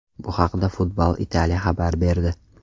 Bu haqda Football Italia xabar berdi .